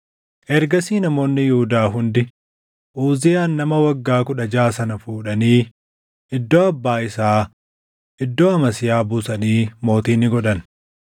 Ergasii namoonni Yihuudaa hundi Uziyaan nama waggaa kudha jaʼa sana fuudhanii iddoo abbaa isaa iddoo Amasiyaa buusanii mootii ni godhan.